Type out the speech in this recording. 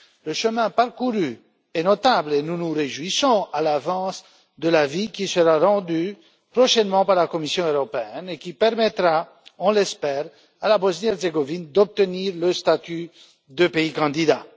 Le chemin parcouru est notable et nous nous réjouissons à l'avance de l'avis qui sera rendu prochainement par la Commission européenne et qui permettra, nous l'espérons, à la Bosnie Herzégovine d'obtenir le statut de pays candidat.